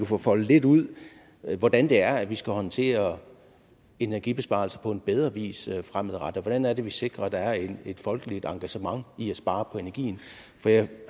få foldet lidt ud hvordan det er vi skal håndtere energibesparelser på en bedre vis fremadrettet hvordan er det at vi sikrer at der er et folkeligt engagement i at spare på energien for jeg